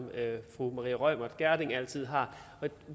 fru maria reumert gjerding altid har